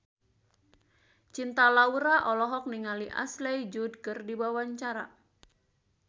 Cinta Laura olohok ningali Ashley Judd keur diwawancara